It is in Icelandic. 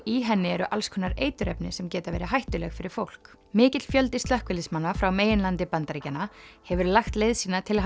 í henni eru alls konar eiturefni sem geta verið hættuleg fyrir fólk mikill fjöldi slökkviliðsmanna frá meginlandi Bandaríkjanna hefur lagt leið sína til